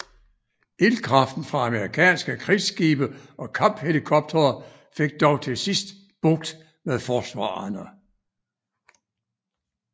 Ildkraften fra amerikanske krigsskibe og kamphelikoptere fik dog til sidst bugt med forsvarerne